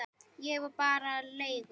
Ég var bara leigu